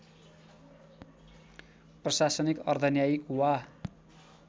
प्रशासनिक अर्धन्यायिक वा